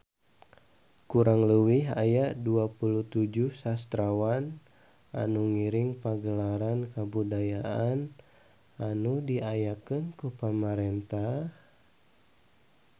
Kurang leuwih aya 27 sastrawan anu ngiring Pagelaran Kabudayaan anu diayakeun ku pamarentah